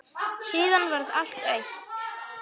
Síðan varð allt autt.